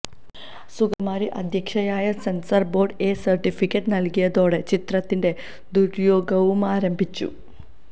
സുഗതകുമാരി അധ്യക്ഷയായ censor board A certificate നൽകിയതോടെ ചിത്രത്തിന്റെ ദുര്യോഗവുമാരംഭിച്ചു